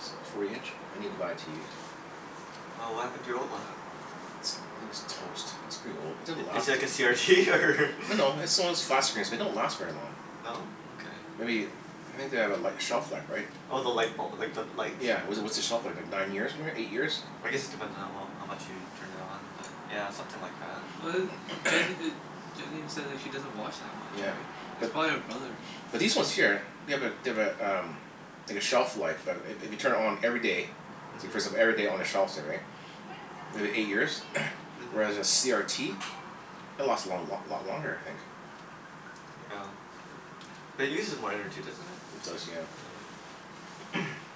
That's like forty inch? I need to buy a TV, so Oh, what happened to your old one? Wh- uh It's, I think it's toast. It's pretty old. Mm. It didn't I- is last it like v- a CRT, or No no, it's the one of those flat screens, they don't last very long. No? Okay. Maybe, I think they have a li- shelf life, right? Oh, the lightbul- like, the light? Yeah, w- what's the shelf life, like nine years ma- eight years? I guess it depends on how well, how much you turn it on but yeah, something like that. Well a m- Jen e- Jen even says like she doesn't watch that much, Yeah, right? It's but probably her brother. But these ones Yeah. here, they have a they have a um like a shelf life. I- i- if you turn it on every day so you first them Mhm. every day on a shelf, say, right? If it eight years? Mhm. Whereas a CRT it'll last a long lot lot longer I think. Yeah. But it uses more energy, doesn't it? It does, Huh. Yeah. yeah.